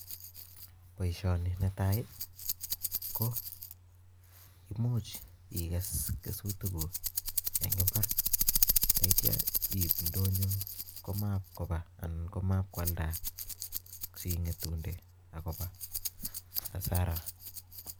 Boishoni netai ko much igees kesutiikuk en imbaar ak yeityo iib indonyo koiweiialda sikomewe asaraa